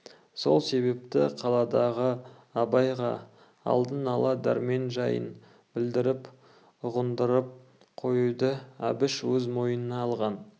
сол себепті қаладағы абайға алдын ала дәрмен жайын білдіріп ұғындырып қоюды әбіш өз мойнына алған